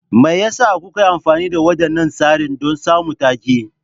Me yasa kuka yi amfani da waɗannan tsarin don samun take?